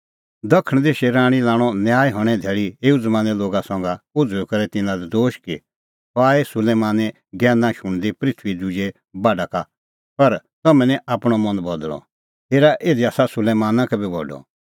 दखण देशे राणीं लाणअ न्याय हणें धैल़ी एऊ ज़मानें लोगा संघै उझ़ुई करै तिन्नां लै दोश कि सह आई सुलैमाने ज्ञैना शुणदी पृथूईए दुजै बाढा का पर तम्हैं निं आपणअ मन बदल़अ हेरा इधी आसा सुलैमाना का बी बडअ